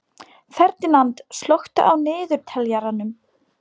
Ferdínand, slökktu á niðurteljaranum.